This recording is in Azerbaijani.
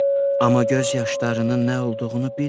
Amma göz yaşlarının nə olduğunu bilmirdim.